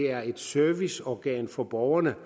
er et serviceorgan for borgerne